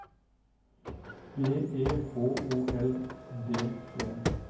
B E H O L D T